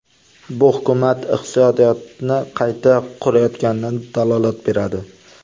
Bu hukumat iqtisodiyotni qayta qurayotganidan dalolat beradi.